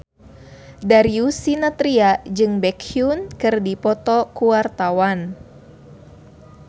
Darius Sinathrya jeung Baekhyun keur dipoto ku wartawan